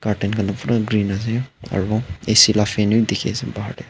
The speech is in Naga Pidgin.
curtain khan la pura green ase aro a c la fan bi dikhiase bahar tae.